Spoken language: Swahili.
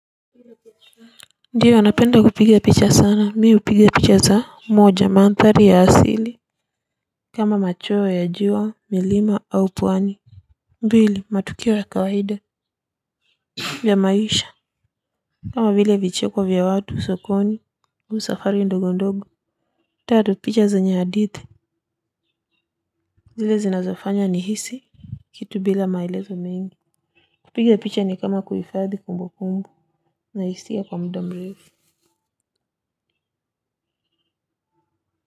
Ndiyo napenda kupiga picha sana mimi hupiga picha za moja mandhari ya asili. Kama machweo ya jua milima au pwani. Mbili matukio ya kawaida vya maisha kama vile vicheko vya watu sokoni hu safari ndogo ndogo. Tatu picha zenye hadithi. Zile zinazofanya nhisi kitu bila maelezo mengi. Kupiga picha ni kama kuhifadhi kumbukumbu na hisia kwa muda mrefu.